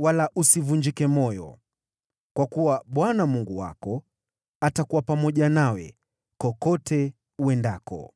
wala usivunjike moyo, kwa kuwa Bwana Mungu wako atakuwa pamoja nawe kokote uendako.”